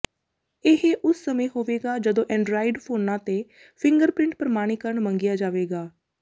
ਇਹ ਉਸ ਸਮੇਂ ਹੋਵੇਗਾ ਜਦੋ ਐਂਡਰਾਇਡ ਫੋਨਾਂ ਤੇ ਫਿੰਗਰਪ੍ਰਿੰਟ ਪ੍ਰਮਾਣੀਕਰਨ ਮੰਗਿਆ ਜਾਵੇਗਾ